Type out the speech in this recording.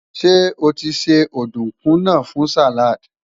ṣé otise ọdunkun nà fún salad?